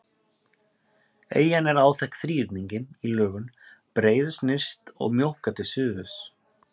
Eyjan er áþekk þríhyrningi í lögun, breiðust nyrst og mjókkar til suðurs.